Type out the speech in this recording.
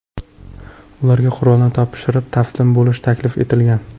Ularga qurollarni topshirib, taslim bo‘lish taklif etilgan.